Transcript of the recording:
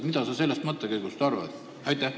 Mida sa sellest mõttekäigust arvad?